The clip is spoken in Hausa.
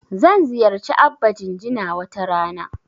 Zan ziyarci Abba Jinjina wata rana.